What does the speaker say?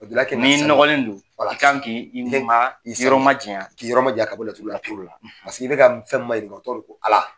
Laturudala kɛni n'i nɔgɔlen don i kan k'i ma janya k'i yɔrɔ ma janya ka laturu la pewu i bɛka fɛn mayɛlɛma o tɔgƆ ye ko Ala.